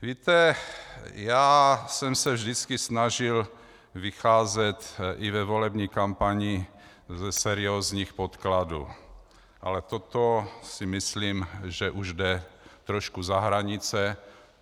Víte, já jsem se vždycky snažil vycházet i ve volební kampani ze seriózních podkladů, ale toto si myslím, že už jde trošku za hranice.